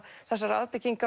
þessar